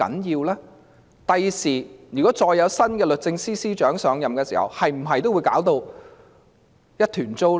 如果將來再有新的律政司司長上任，會否也是一團糟？